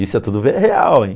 Isso é tudo bem real, hein?